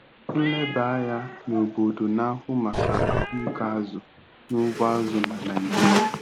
Nlebanya n'obodo na-ahụ maka ahụike azụ n'ugbo azụ na Naijiria.